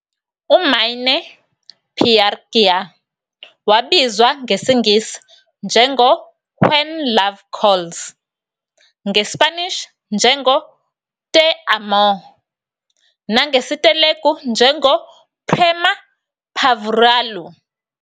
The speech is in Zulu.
UMaine Pyar Kiya wabizwa ngesiNgisi njengo-When Love Calls, ngeSpanish njengoTe Amo, nangesiTelugu njengoPrema Paavuraalu.